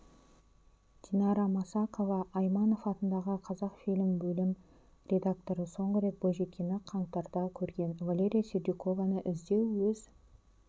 динара масақова айманов атындағы қазақфильм бөлім редакторы соңғы рет бойжеткенді қаңтарда көрген валерия сердюкованы іздеу өз